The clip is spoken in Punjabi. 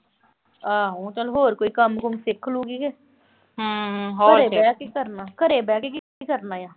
ਆਹੋ ਚਲ ਹੋਰ ਕੋਈ ਕੰਮ-ਕੁੰਮ ਸਿੱਖ ਲੂ ਗੀ ਘਰੇ ਬਹਿ ਕੇ ਕੀ ਕਰਨਾ, ਘਰੇ ਬਹਿ ਕੇ ਕੀ ਕਰਨਾ ਆ।